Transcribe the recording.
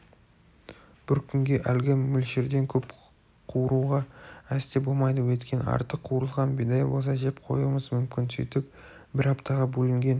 бір күнге әлгі мөлшерден көп қуыруға әсте болмайды өйткені артық қуырылған бидай болса жеп қоюымыз мүмкін сөйтіп бір аптаға бөлінген